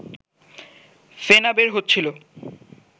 ফেনা বের হচ্ছিল